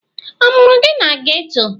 A mụrụ gị na geto?